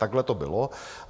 Takhle to bylo.